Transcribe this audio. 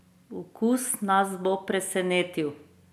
Okus nas bo presenetil!